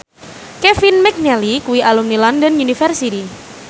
Kevin McNally kuwi alumni London University